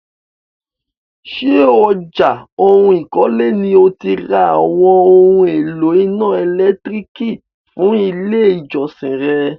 Ṣé ọjà ohun ikole ni o ti ra àwọn oún èlò iná ẹ̀lẹ́tírìkì fún ilé ìjọsìn re?